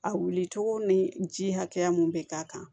A wulicogo ni ji hakɛya mun bɛ k'a kan